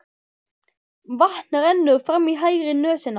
Vatn rennur fram í hægri nösina.